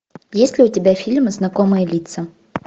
есть ли у тебя фильм знакомые лица